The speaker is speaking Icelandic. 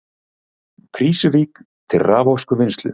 Krýsuvík til raforkuvinnslu.